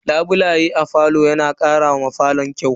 Labulaye a falo na karawa falon kyau.